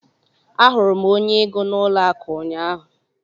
Ahụrụ m onye ego n'ụlọ akụ ụnyaahụ.